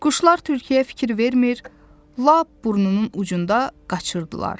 Quşlar tülküya fikir vermir, lap burnunun ucunda qaçırdılar.